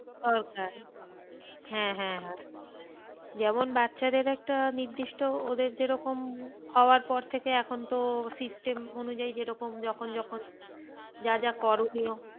হ্যাঁ হ্যাঁ হ্যাঁ যেমন বাচ্চাদের একটা নির্দিষ্ট ওদের যেরকম হওয়ার পর থেকে এখন তো system অনুযায়ী যেরকম যখন যখন যা যা করণীয়,